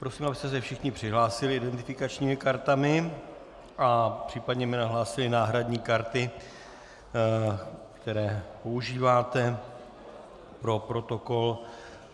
Prosím, abyste se všichni přihlásili identifikačními kartami a případně mi nahlásili náhradní karty, které používáte, pro protokol.